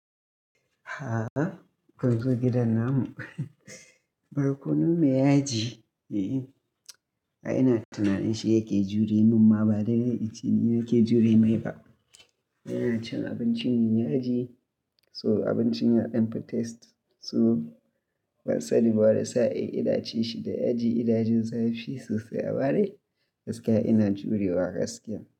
A'a kunzo gidan namu, barkonon me yaji, eh. A ina tunanin shi yake jure mun ma ba dai dai icce ne yake jure mai ba. Yana cin abinci me yaji, so abincin ya ɗan fi taste so bansani ba wani sa'e ina ci shi da yaji, inajin zafe sosai a amade gaskiya ina jurewa gaskiya.